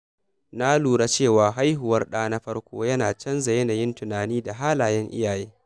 Na lura cewa haihuwar ɗa na farko yana canza yanayin tunani da halayen iyaye.